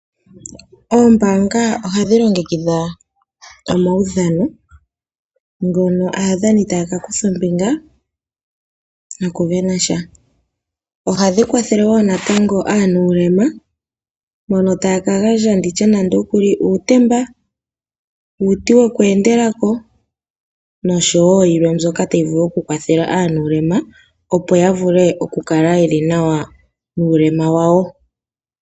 Oombaanga ohadhi longekidha omaudhano mono aadhani haya kutha ombinga nokusindana sha. Ohashi kwathele wo natango mboka ye na uulema wontumba ngaashi okugandja uutemba, uuti woku endela ko nayilwe mbyoka tayi vulu okukwathela mboka ye na uulema, opo ya vule okukala ye li nawa nuulema wawo.d